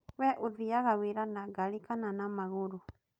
We ũthiaga wĩra na ngari kana na magũrũ?